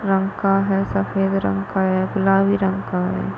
रंग का है सफेद रंग का है गुलाबी रंग का है।